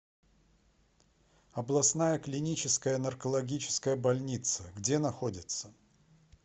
областная клиническая наркологическая больница где находится